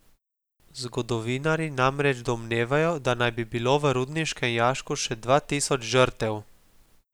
Zgodovinarji namreč domnevajo, da naj bi bilo v rudniškem jašku še dva tisoč žrtev.